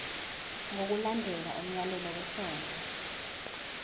ngokulandela umyalelo wesondlo